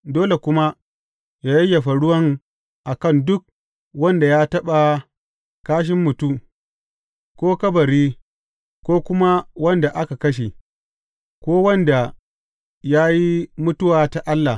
Dole kuma yă yayyafa ruwan a kan duk wanda ya taɓa ƙashin mutu, ko kabari, ko kuma wanda aka kashe, ko wanda ya yi mutuwa ta Allah.